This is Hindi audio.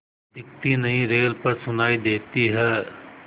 दिखती नहीं रेल पर सुनाई देती है